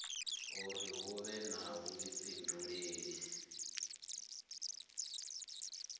uri hu vhe na vhuifhinduleli